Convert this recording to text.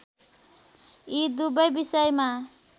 यी दुवै विषयमा